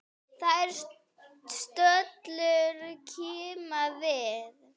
Þær stöllur kíma við.